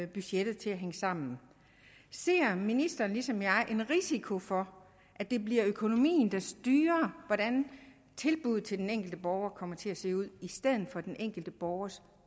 budgettet til at hænge sammen ser ministeren ligesom jeg en risiko for at det bliver økonomien der styrer hvordan tilbuddet til den enkelte borger kommer til at se ud i stedet for den enkelte borgers